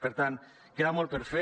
per tant queda molt per fer